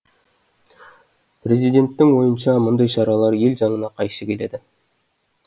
президенттің ойынша мұндай шаралар ел заңына қайшы келеді